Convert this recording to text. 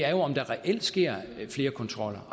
om der reelt sker flere kontroller